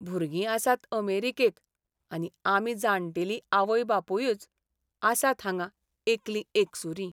भुरगीं आसात अमेरिकेक, आनी आमी जाण्टेली आवय बापूयच आसात हांगां एकलीं एकसुरीं